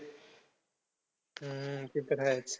हम्म ते तर आहेच.